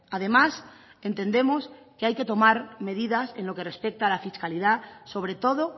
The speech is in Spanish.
además entendemos que hay que tomar medidas en lo que respecta a la fiscalidad sobre todo